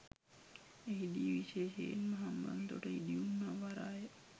එහිදී විශේෂයෙන්ම හම්බන්තොට ඉදිවුණු නව වරාය